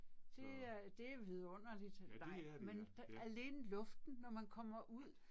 Det er det er vidunderligt. Nej men alene luften, når man kommer ud